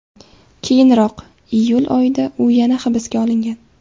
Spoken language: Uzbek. Keyinroq, iyul oyida u yana hibsga olingan.